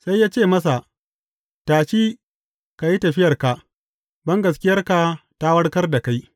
Sai ya ce masa, Tashi, ka yi tafiyarka, bangaskiyarka ta warkar da kai.